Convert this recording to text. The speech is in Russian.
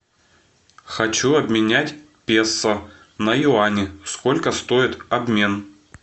хочу обменять песо на юани сколько стоит обмен